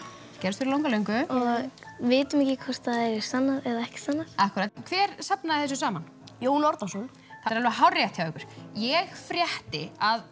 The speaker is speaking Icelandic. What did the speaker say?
gerðust fyrir langalöngu og við vitum ekki hvort þær eru sannar eða ekki hver safnaði þessu saman Jón Árnason það er alveg hárrétt hjá ykkur ég frétti að